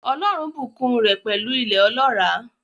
Ọlọ́run bùkún un rẹ̀ pẹ̀lú ilẹ̀ ọlọ́ràá.